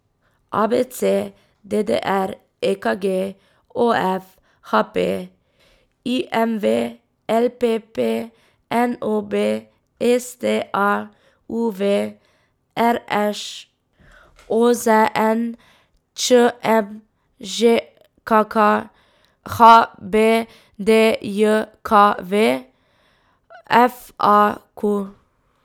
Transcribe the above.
A B C; D D R; E K G; O F; H P; I M V; L P P; N O B; S T A; U V; R Š; O Z N; Č M; Ž K K; H B D J K V; F A Q.